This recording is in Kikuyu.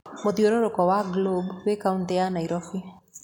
Muthiũrũrũko wa globe wi kautĩ ya Nairobi